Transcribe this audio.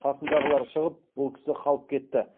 қасындағылар шығып бұл кісі қалып кетті